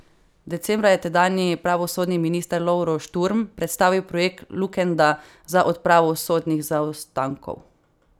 Decembra je tedanji pravosodni minister Lovro Šturm predstavil projekt Lukenda za odpravo sodnih zaostankov.